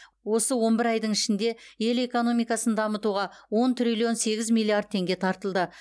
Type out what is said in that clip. осы он бір айдың ішінде ел экономикасын дамытуға он триллион сегіз миллиард теңге тартылды